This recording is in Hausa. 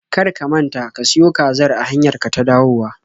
Kar ka manta ka siyo kazar a hanyar ka ta dawowa!